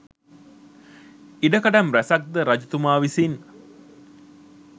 ඉඩකඩම් රැසක් ද රජතුමා විසින්